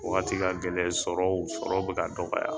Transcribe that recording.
Wagati ka gɛlɛn sɔrɔ sɔrɔ bɛ ka dɔgɔya.